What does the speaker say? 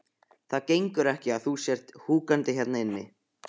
Það gengur ekki að þú sért húkandi hérna inni.